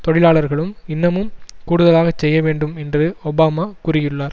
தொழிலாளர்களும் இன்னமும் கூடுதலாக செய்ய வேண்டும் என்று ஒபாமா கூறியுள்ளார்